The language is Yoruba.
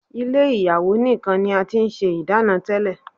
Ilé ìyàwó nìkan ni a ti ń ṣe ìdáná tẹ́lẹ̀.